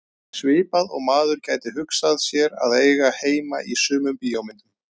Svipað og maður gæti hugsað sér að eiga heima í sumum bíómyndum.